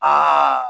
Aa